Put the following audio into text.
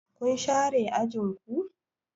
Kun share ajin ku?